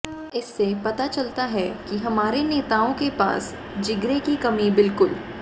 इससे पता चलता है कि हमारे नेताओं के पास जिगरे की कमी बिल्कुल